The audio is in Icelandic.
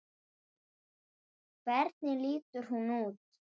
Honum var fenginn matur.